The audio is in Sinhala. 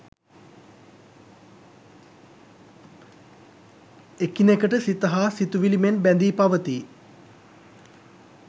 එකිනෙකට සිත හා සිතුවිලි මෙන් බැඳී පවතියි.